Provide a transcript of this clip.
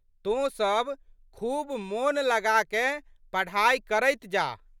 तोँ सब खूब मोन लगाकए पढ़ाइ करैत जाह।